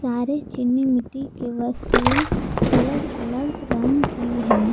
अरे चीनी मिट्टी की वस्तुएं अलग अलग रंग की है।